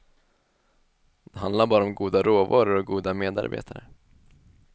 Det handlar bara om goda råvaror och goda medarbetare.